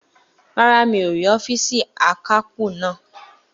Rárá, mi ò rí ọ́fììsì akápò náà